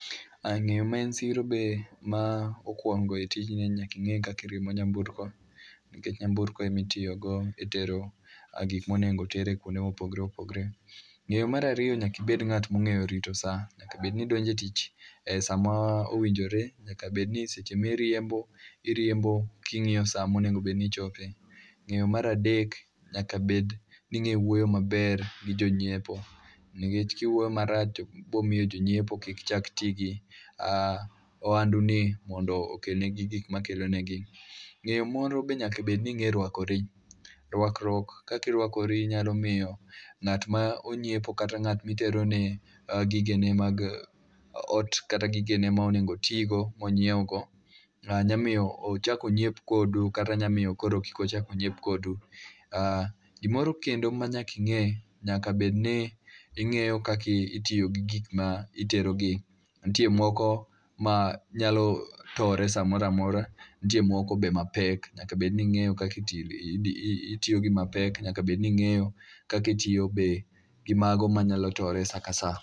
Ah ng'eyo ma en siro be ma okwongo e tijni en ni nyaki ng'e kakiriembo nyamburko. Nikech nyamburko emitiyogo e tero gik monego oter e kuonde mopogore opogre. Ng'eyo marariyo nyakibed ng'at mong'eyo rito sa, nyakabedni idonje tich e sama owinjore. Nyakabedni ni seche miriembo, iriembo king'iyo sa monego bedni ichope. Ng'eyo maradek, nyakabed ning'e wuoyo maber gi jonyiepo. Ningech kiwuoyo marach to bomiyo jonyiepo kik chak ti gi oandu ni mondo okel negi gikma kelo negi. Ng'eyo moro be nyaka bedni ing'e rwakori. Rwakruok kakirwakori nyalo miyo ng'at monyiepo kata ng'at miterone gigene mag ot kata gigene ma onego otigo monyiewo go. Nyamiyo ochakonyiep kodu kata nya miyo kik ochak onyiep kodu. Ah gimoro kendo ma nyaki ng'e, nyaka bedni ing'eyo kaki itiyo gi gikma itero gi. Nitie moko ma nyalo tore sa moro amora, nitie moko be mapek. Nyaka bed ni ing'eyo kakitiyo itiyo gi mapek, nyaka bed ni ing'eyo kaka itiyo be gi mago ma nyalo tore sa ka sa.